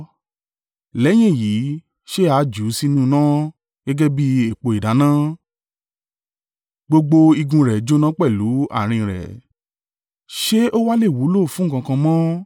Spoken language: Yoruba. Lẹ́yìn èyí, ṣe a jù ú sínú iná gẹ́gẹ́ bí epo ìdáná, gbogbo igun rẹ̀ jóná pẹ̀lú àárín rẹ, ṣé o wà le wúlò fún nǹkan kan mọ́?